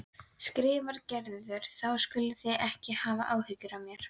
skrifar Gerður, þá skuluð þið ekki hafa áhyggjur af mér.